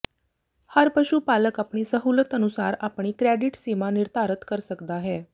ਹਰ ਪਸ਼ੂ ਪਾਲਕ ਆਪਣੀ ਸਹੂਲਤ ਅਨੁਸਾਰ ਆਪਣੀ ਕ੍ਰੈਡਿਟ ਸੀਮਾ ਨਿਰਧਾਰਤ ਕਰ ਸਕਦਾ ਹੈ